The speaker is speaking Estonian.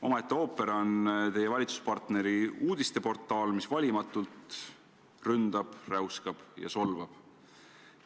Omaette ooper on teie valitsuspartneri uudisteportaal, mis valimatult ründab, räuskab ja solvab.